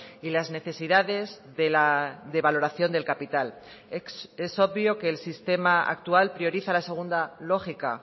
y las necesidades de la devaloración del capital es obvio que el sistema actual prioriza la segunda lógica